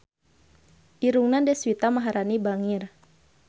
Irungna Deswita Maharani bangir